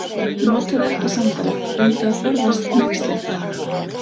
Notaðu ekki sandala, reyndu að forðast hneykslin.